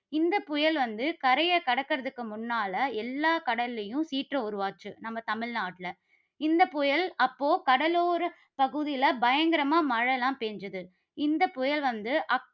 இந்த புயல் வந்து கரையை கடக்கிறதற்கு முன்னால எல்லா கடல்லையும் சீற்றம் உருவாச்சு, நம்ம தமிழ்நாட்டில. இந்த புயல் அப்போ கடலோர பகுதியில பயங்கரமா மழைலாம் பெய்தது. இந்த புயல் வந்து